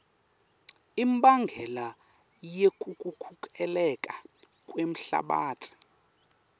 imbangela yekukhukhuleka kwemhlabatsi